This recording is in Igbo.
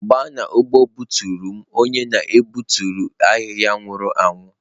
Gbaa n'ugbo butere m onye na-egbutu ahihia nwuru anwu